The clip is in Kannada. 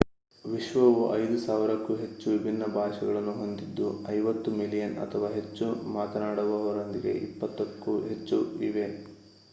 ವಿಶ್ವವು 5,000 ಕ್ಕೂ ಹೆಚ್ಚು ವಿಭಿನ್ನ ಭಾಷೆಗಳನ್ನು ಹೊಂದಿದ್ದು 50 ಮಿಲಿಯನ್ ಅಥವಾ ಹೆಚ್ಚು ಮಾತನಾಡುವವರೊಂದಿಗೆ ಇಪ್ಪತ್ತಕ್ಕೂ ಹೆಚ್ಚು ಇವೆ